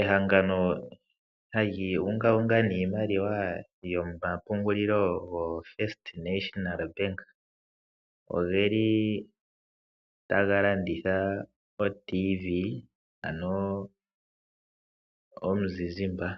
Ehangano hali ungaunga niimaliwa yomapungululo yo FNB ogeli taga landitha oTV ano oradio yomuzizimba .